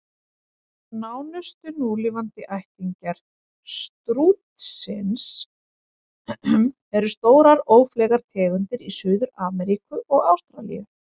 Nánustu núlifandi ættingjar stútsins eru stórar, ófleygar tegundir í Suður-Ameríku og Ástralíu.